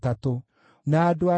na a Harimu maarĩ 1,017.